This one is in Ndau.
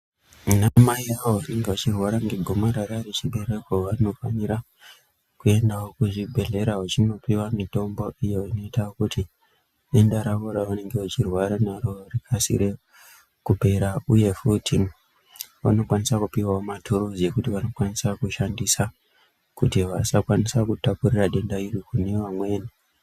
Anamai avo vanenge vachirwara ngegomarara rechibereko vanofanira kuendawo kuzvibhedhlera vachinopiwa mitombo iyo inoita kuti denda ravo ravanenge vachirwara naro rikasike kupera, uye futi vanokwanisa kupiwawo maturuzi ekuti vanokwanisa kushandisa kuti vasakwanisa kutapurira denda iri kune vamweni.